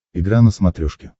игра на смотрешке